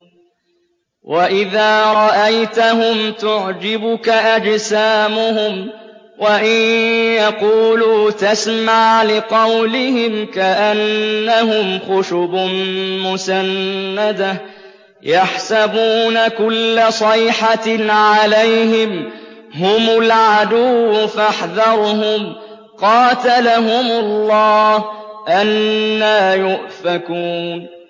۞ وَإِذَا رَأَيْتَهُمْ تُعْجِبُكَ أَجْسَامُهُمْ ۖ وَإِن يَقُولُوا تَسْمَعْ لِقَوْلِهِمْ ۖ كَأَنَّهُمْ خُشُبٌ مُّسَنَّدَةٌ ۖ يَحْسَبُونَ كُلَّ صَيْحَةٍ عَلَيْهِمْ ۚ هُمُ الْعَدُوُّ فَاحْذَرْهُمْ ۚ قَاتَلَهُمُ اللَّهُ ۖ أَنَّىٰ يُؤْفَكُونَ